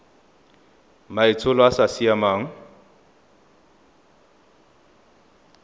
maitsholo a a sa siamang